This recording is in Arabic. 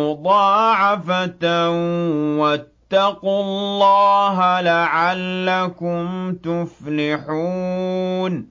مُّضَاعَفَةً ۖ وَاتَّقُوا اللَّهَ لَعَلَّكُمْ تُفْلِحُونَ